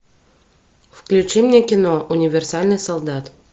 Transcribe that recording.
включи мне кино универсальный солдат